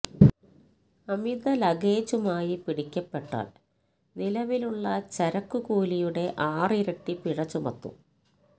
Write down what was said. അമിത ലഗേജുമായി പിടിക്കപ്പെട്ടാല് നിലവിലുള്ള ചരക്ക് കൂലിയുടെ ആറിരട്ടി പിഴ ചുമത്തും